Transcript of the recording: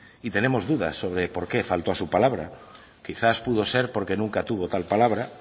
y tenemos dudas sobre porqué faltó a su palabra quizás pudo ser porque nunca tuvo tal palabra